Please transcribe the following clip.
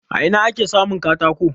A ina ake samun katako?